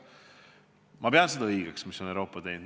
Ma pean õigeks seda, mida on Euroopa teinud.